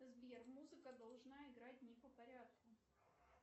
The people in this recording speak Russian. сбер музыка должна играть не по порядку